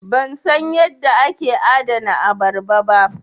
Ban san yadda ake adana abarba ba.